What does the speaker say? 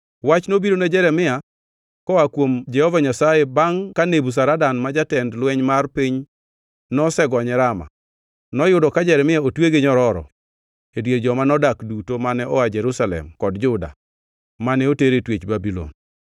Wach nobiro ne Jeremia koa kuom Jehova Nyasaye bangʼ ka Nebuzaradan ma jatend lweny mar piny nosegonye Rama. Noyudo ka Jeremia otwe gi nyororo e dier joma nomak duto mane oa Jerusalem kod Juda mane oter e twech Babulon.